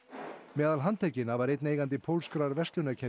meðal handtekinna var einn eigandi pólskrar verslunarkeðju